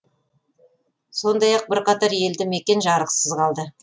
сондай ақ бірқатар елді мекен жарықсыз қалды